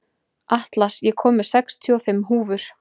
Atlas, ég kom með sextíu og fimm húfur!